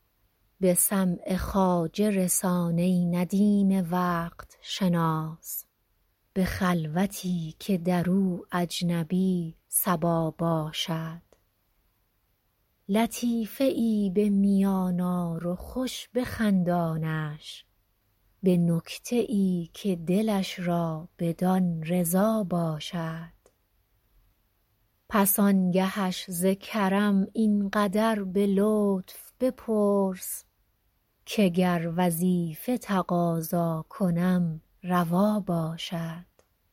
به سمع خواجه رسان ای ندیم وقت شناس به خلوتی که در او اجنبی صبا باشد لطیفه ای به میان آر و خوش بخندانش به نکته ای که دلش را بدان رضا باشد پس آنگهش ز کرم این قدر به لطف بپرس که گر وظیفه تقاضا کنم روا باشد